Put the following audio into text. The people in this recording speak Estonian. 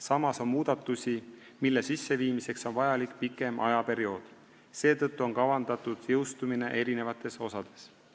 Samas on muudatusi, mille sisseviimiseks on vajalik pikem ajaperiood, seetõttu on kavandatud jõustumine mitmes osas.